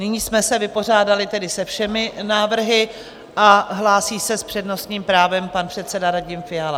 Nyní jsme se vypořádali tedy se všemi návrhy a hlásí se s přednostním právem pan předseda Radim Fiala.